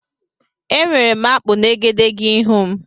Enwere m akpụ na egedegeihū m.